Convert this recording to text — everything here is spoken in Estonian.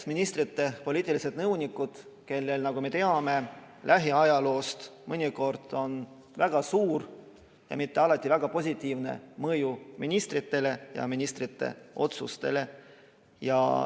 Ministrite poliitilistel nõunikel, nagu me lähiajaloost teame, on mõnikord väga suur ja alati mitte väga positiivne mõju ministritele ja ministrite otsustele.